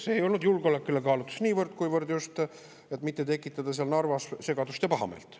See ei olnud niivõrd julgeolekukaalutlus, kuivõrd just see, et mitte tekitada Narvas segadust ja pahameelt.